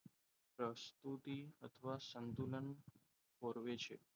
પ્રસ્તુતિ અથવા સંતુલન ખોરવે છે.